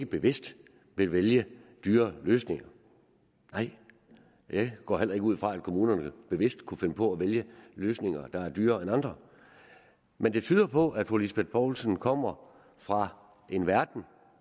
bevidst ville vælge dyrere løsninger nej jeg går heller ikke ud fra at kommunerne bevidst kunne finde på at vælge løsninger der er dyrere end andre men det tyder på at fru lise bech poulsen kommer fra en verden